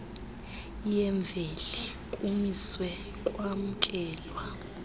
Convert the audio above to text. yemveli kumiswe kwamkelwa